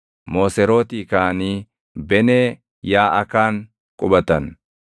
Mooserootii kaʼanii Benee Yaaʼakaan qubatan.